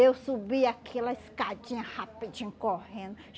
Eu subia aquela escadinha rapidinho, correndo.